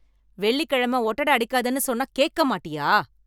வெள்ளிக்கிழமை ஒட்டடை அடிக்காதன்னு சொன்னா கேக்க மாட்டியா?